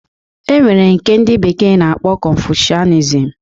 E nwere nke ndị bekee na-akpọ konfushianizm